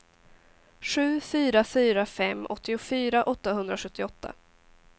sju fyra fyra fem åttiofyra åttahundrasjuttioåtta